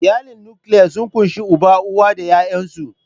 Iyalin nukiliya sun ƙunshi uba, Uwa da 'ya'yansu.